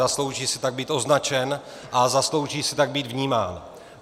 Zaslouží si tak být označen a zaslouží si tak být vnímán.